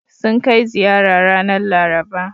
Sun kai ziyara ranar Laraba.